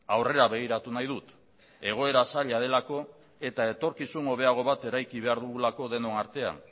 aurrera begiratu nahi dut egoera zaila delako eta etorkizun hobeago bat eraiki behar dugulako denon artean